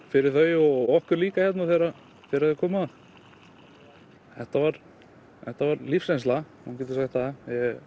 fyrir þau og okkur líka þegar þegar þau koma þetta var þetta var lífsreynsla maður getur sagt það